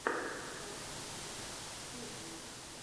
санни кидс ти ви